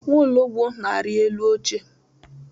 Nwologbo na-ari elu oche.